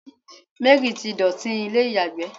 Mary ti dotì ilé iyagbe